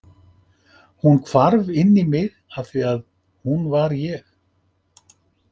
Hún hvarf inn í mig afþvíað hún var ég.